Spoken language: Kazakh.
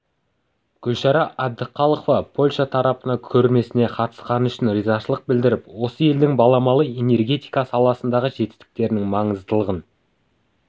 гүлшара әбдіқалықова польша тарапына көрмесіне қатысқаны үшін ризашылық білдіріп осы елдің баламалы энергетика саласындағы жетістіктерінің маңыздылығын